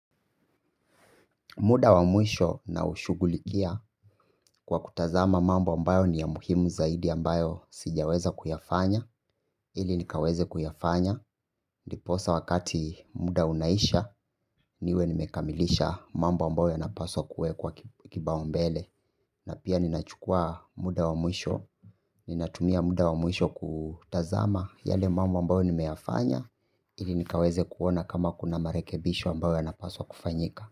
Muda wa mwisho naushughulikia kwa kutazama mambo ambayo ni ya muhimu zaidi ambayo sijaweza kuyafanya ili nikaweze kuyafanya ndiposa wakati muda unaisha niwe nimekamilisha mambo ambayo yanapaswa kuwekwa kipaumbele. Na pia ninachukua muda wa mwisho. Ninatumia muda wa mwisho kutazama yale mambo ambayo nimeyafanya ili nikaweze kuona kama kuna marekebisho ambayo yanapaswa kufanyika.